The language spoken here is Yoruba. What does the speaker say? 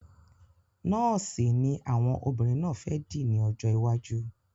Nọ́ọ̀sì ni àwọn obìnrin náà fẹ́ dì ní ọjọ́ iwájú.